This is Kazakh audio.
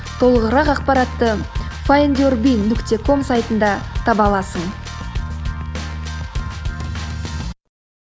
толығырақ ақпаратты файндюрби нүкте ком сайтында таба аласың